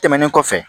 Tɛmɛnen kɔfɛ